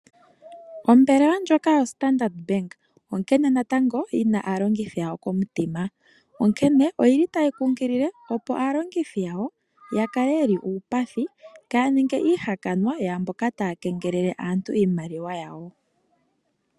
Ombelewa ndjoka yoStandard Bank, onkene natango yi na aalongithi yawo komutima. Onkene oyi li tayi kunkilile, opo aalongithi yawo ya kale ye li uupathi, kaaya ninge iihakanwa yaamboka taa kengelele aantu iimaliwa yawo.